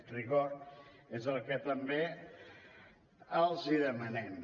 rigor és el que també els demanem